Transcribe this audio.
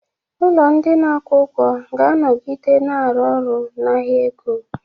Ụlọ ndị na-akwụ ụgwọ ga-anọgide na-arụ ọrụ na ahịa ego.